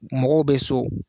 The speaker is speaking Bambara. Mɔgɔw bɛ so